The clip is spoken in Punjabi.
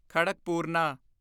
ਖੜਕਪੂਰਨਾ